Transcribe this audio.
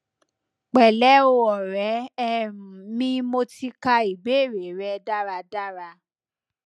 pẹlẹ o ọrẹ um mi mo ti ka ibeere rẹ daradara